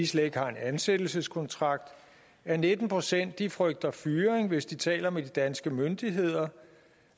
slet ikke har en ansættelseskontrakt at nitten procent frygter fyring hvis de taler med de danske myndigheder